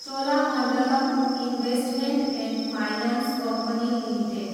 Cholamandalam investment and finance company limited